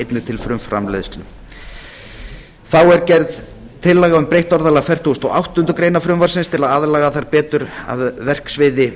einnig til frumframleiðslu þá er gerð tillaga um breytt orðalag fertugasta og áttundu greinar frumvarpsins til að aðlaga það betur verksviði